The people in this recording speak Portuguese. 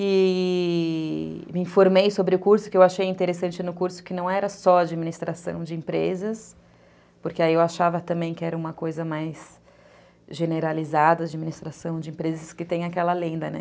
E... me informei sobre o curso, que eu achei interessante no curso, que não era só administração de empresas, porque aí eu achava também que era uma coisa mais generalizada, administração de empresas, que tem aquela lenda, né?